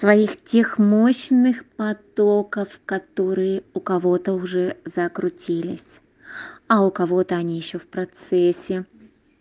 твоих тех мощных потоков которые у кого-то уже закрутились а у кого-то они ещё в процессе